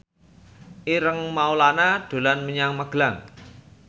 Ireng Maulana dolan menyang Magelang